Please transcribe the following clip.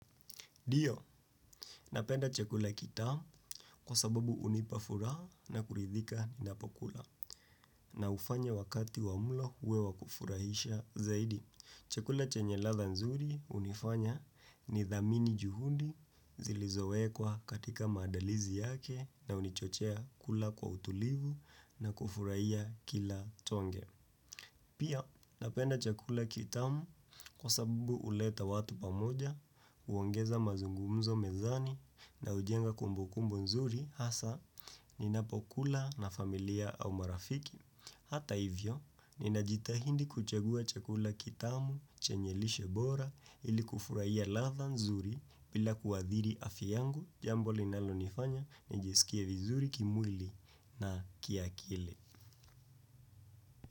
Ndio, napenda chakula kitamu kwa sababu hunipa furaha na kuridhika ninapokula na hufanya wakati wa mlo uwe wakufurahisha zaidi. Chakula chenye ladha nzuri hunifanya nidhamini juhudi zilizowekwa katika maandalizi yake na hunichochea kula kwa utulivu na kufurahia kila tonge. Pia napenda chakula kitamu kwa sababu huleta watu pamoja, huongeza mazungumzo mezani na hujenga kumbukumbu nzuri hasa ninapokula na familia au marafiki. Hata hivyo, ninajitahidi kuchagua chakula kitamu chenye lishe bora ili kufurahia ladha nzuri bila kuadhiri afya yangu jambo linalonifanya nijisikie vizuri kimwili na kiakili.